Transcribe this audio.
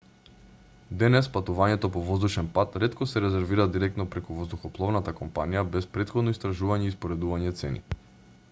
денес патувањето по воздушен пат ретко се резервира директно преку воздухопловната компанија без претходно истражување и споредување цени